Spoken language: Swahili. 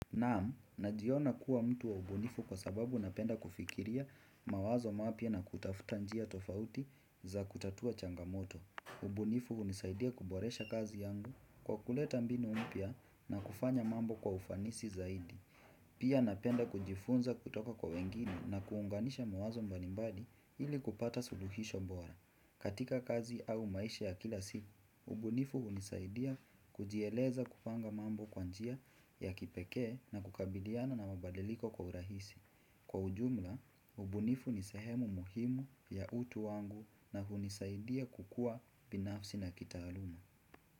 Naam, najiona kuwa mtu wa ubunifu kwa sababu napenda kufikiria mawazo mapya na kutafuta njia tofauti za kutatua changamoto. Ubunifu hunisaidia kuboresha kazi yangu kwa kuleta mbinu mpya na kufanya mambo kwa ufanisi zaidi. Pia napenda kujifunza kutoka kwa wengine na kuunganisha mawazo mbalimbali ili kupata suluhisho bora. Katika kazi au maisha ya kila siku, ubunifu hunisaidia kujieleza kupanga mambo kwa njia ya kipekee na kukabiliana na mabadiliko kwa urahisi. Kwa ujumla, ubunifu ni sehemu muhimu ya utu wangu na hunisaidia kukua binafsi na kitaaluma.